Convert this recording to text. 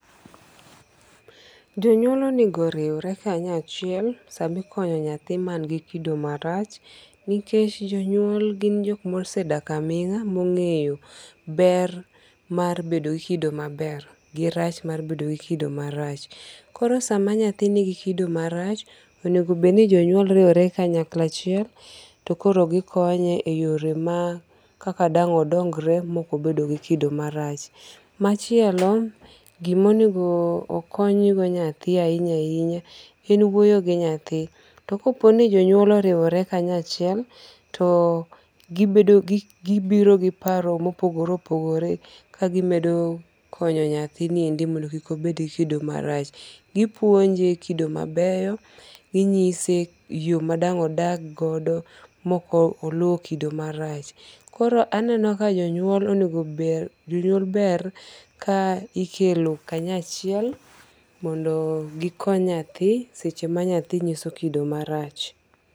Jonyuol onengo oriwre kanyachiel samikonyo nyathi man gi kido marach. Nikech jonyuol gin jok mosedak aming'a mong'eyo ber mar bedo gi kido maber gi rach mar bedo gi kido marach. Koro sa ma nyathi nigi kido marach, onegobed ni jonyuol riwore kanyakla achiel to koro gikonye e yore ma kaka odongre ma ok obedo go kido marach. Machielo, gimonendo okony go nyathi ahinya ahinya en wuoyo gi nyatho. To kopo no jonyuol oriwore kanyachiel, to gibiro ki paro mopogore opogore kagimedo konyo nythini endi mondo kik obed gi kido marach. Gipuonje kido mabeyo. Ginyise yo ma dang' odag godo mok oluwo kido marach. Koro aneno ka jonyuol ber ka ikelo kanyachiel mondo gikony nyathi seche ma nyathi nyiso kido marach.